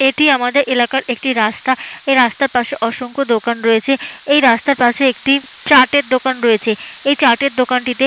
এটি আমাদের এলাকার একটি রাস্তা এই রাস্তার পাশে অসংখ্য দোকান রয়েছে এই রাস্তার পাশে একটি চাটের দোকান রয়েছে এই চাটের দোকানটিতে--